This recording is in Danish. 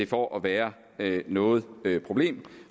for at være noget problem